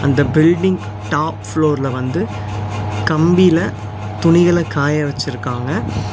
இந்த building top ஃப்ளோர்ல வந்து கம்பில துணிகள காய வச்சுருக்காங்க.